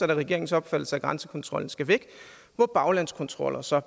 er regeringens opfattelse at grænsekontrollen skal væk hvor baglandskontroller så